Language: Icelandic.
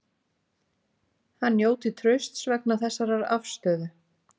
Hann njóti trausts vegna þessarar afstöðu